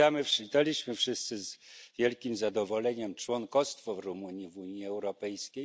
Przyjęliśmy wszyscy z wielkim zadowoleniem członkostwo Rumunii w Unii Europejskiej.